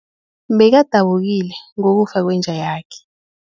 Bekadabukile ngokufa kwenja yakhe.